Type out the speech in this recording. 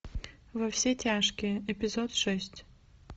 во все тяжкие эпизод шесть